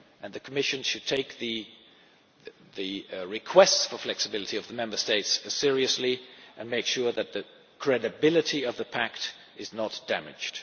well. The Commission should take the requests for flexibility of the Member States seriously and make sure that the credibility of the pact is not damaged.